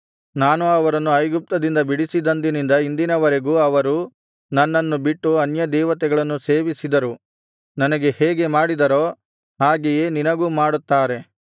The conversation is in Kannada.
ನಾನು ಅವರನ್ನು ಐಗುಪ್ತದಿಂದ ಬಿಡಿಸಿದಂದಿನಿಂದ ಇಂದಿನ ವರೆಗೂ ಅವರು ನನ್ನನ್ನು ಬಿಟ್ಟು ಅನ್ಯದೇವತೆಗಳನ್ನು ಸೇವಿಸಿದರು ನನಗೆ ಹೇಗೆ ಮಾಡಿದರೋ ಹಾಗೆಯೇ ನಿನಗೂ ಮಾಡುತ್ತಾರೆ